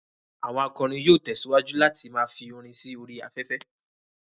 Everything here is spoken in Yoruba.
Àwọn akọrin yóò tẹ̀síwájú láti ma fi orin sí orí afẹ́fẹ́